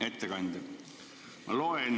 Hea ettekandja!